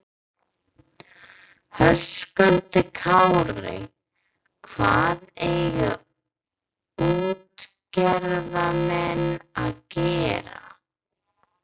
Höskuldur Kári: Hvað eiga útgerðarmenn að gera?